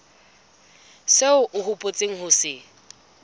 seo o hopotseng ho se